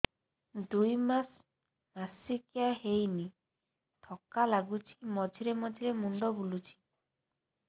ଦୁଇ ମାସ ମାସିକିଆ ହେଇନି ଥକା ଲାଗୁଚି ମଝିରେ ମଝିରେ ମୁଣ୍ଡ ବୁଲୁଛି